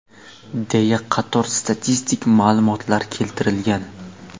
deya qator statistik ma’lumotlar keltirilgan.